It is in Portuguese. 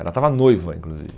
Ela estava noiva, inclusive.